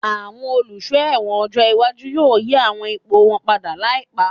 Àwọn Olùsọ́ ẹ̀wọ̀n ọjọ́ iwájú yóò yí àwọn ipò wọn padà láìpá